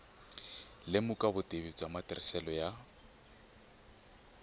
lemuka vutivi bya matirhiselo ya